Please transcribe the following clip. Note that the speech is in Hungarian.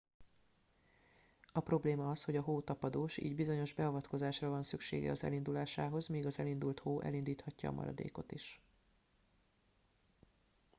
a probléma az hogy a hó tapadós így bizonyos beavatkozásra van szüksége az elindulásához míg az elindult hó elindíthatja a maradékot is